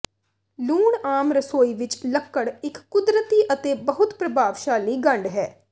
ਲੂਣ ਆਮ ਰਸੋਈ ਵਿਚ ਲੱਕੜ ਇਕ ਕੁਦਰਤੀ ਅਤੇ ਬਹੁਤ ਪ੍ਰਭਾਵਸ਼ਾਲੀ ਗੰਢ ਹੈ